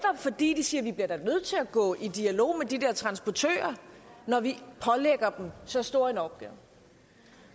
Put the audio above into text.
fordi de siger vi bliver da nødt til at gå i dialog med de der transportører når vi pålægger dem så stor en opgave